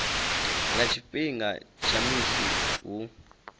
nga tshifhinga tsha musi hu